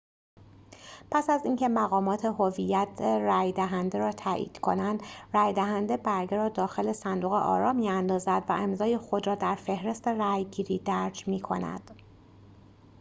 پس از اینکه مقامات هویت رأی‌دهنده را تأیید کنند رأی‌دهنده برگه را داخل صندوق آرا می‌اندازد و امضای خود را در فهرست رأی‌گیری درج می‌کند